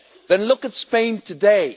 Then look at Spain today.